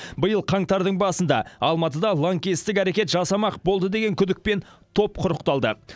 биыл қаңтардың басында алматыда лаңкестік әрекет жасамақ болды деген күдікпен топ құрықталды